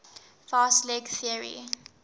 fast leg theory